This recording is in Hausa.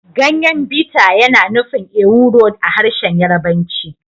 Ganyen biter yana nufin ewuro a harshen Yarbanci